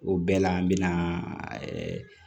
O bɛɛ la an bɛna